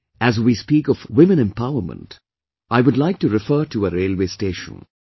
Today, as we speak of women empowerment, I would like to refer to a railway station